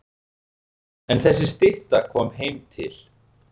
En þessi stytta kom heim til